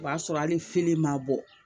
O b'a sɔrɔ hali fili ma bɔ